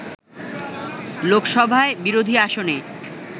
লোকসভায় বিরোধী আসনে